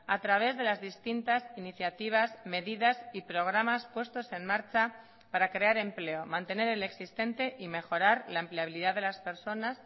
a través de las distintas iniciativas medidas y programas puestos en marcha para crear empleo mantener el existente y mejorar la empleabilidad de las personas